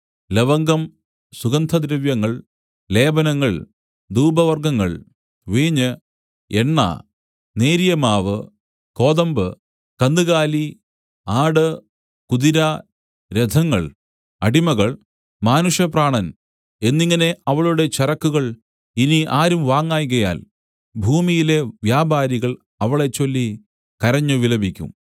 ലവംഗം സുഗന്ധദ്രവ്യങ്ങൾ ലേപനങ്ങൾ ധൂപവർഗ്ഗങ്ങൾ വീഞ്ഞ് എണ്ണ നേരിയ മാവു കോതമ്പ് കന്നുകാലി ആട് കുതിര രഥങ്ങൾ അടിമകൾ മാനുഷപ്രാണൻ എന്നിങ്ങനെ അവളുടെ ചരക്കുകൾ ഇനി ആരും വാങ്ങായ്കയാൽ ഭൂമിയിലെ വ്യാപാരികൾ അവളെച്ചൊല്ലി കരഞ്ഞു വിലപിക്കും